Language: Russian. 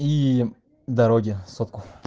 и дороги сотку